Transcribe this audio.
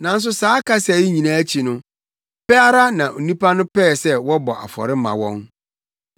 Nanso saa kasa yi nyinaa akyi no, pɛ ara na nnipa no pɛɛ sɛ wɔbɔ afɔre ma wɔn.